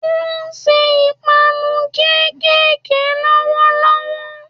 Ó n se 'ìpanu kékèké' lówó lówó